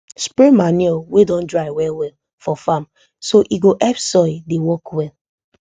spray manure wey don dry well well for farm so e go help soil dey work well